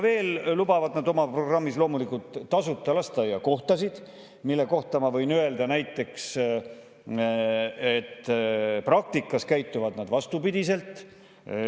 Veel lubavad nad loomulikult tasuta lasteaiakohtasid, mille kohta ma võin öelda, et praktikas nad käituvad vastupidi.